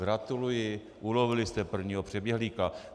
Gratuluji, ulovili jste prvního přeběhlíka.